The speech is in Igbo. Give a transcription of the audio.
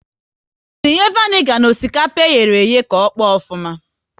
Tinye vanigar n'osikapa eyere eye ahụ ka ọkpọ ofuma!